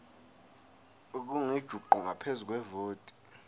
elingujuqu ngaphezu kwevoti